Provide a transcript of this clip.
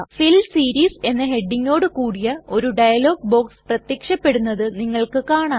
ഫിൽ series എന്ന ഹെഡിംഗോട് കൂടിയ ഒരു ഡയലോഗ് ബോക്സ് പ്രത്യക്ഷപ്പെടുന്നത് നിങ്ങൾക്ക് കാണാം